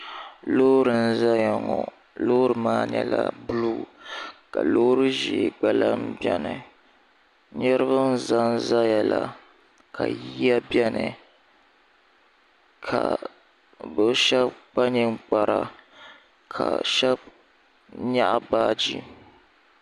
loori n-ʒeya ŋɔ loori maa nyɛla buluu ka loori ʒee gba lahi beni niriba n-ʒe zaya la ka yiya beni ka bɛ shɛba kpa ninkpara ka shɛba nyaɣi baaji.